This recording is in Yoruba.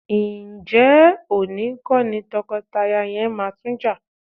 Ǹjẹ́ òní kọ́ ni tọkọtaya yẹn máa tún jà?